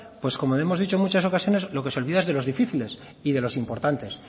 pues como le hemos dicho en muchas ocasiones lo que se olvida es de los difíciles y de los importantes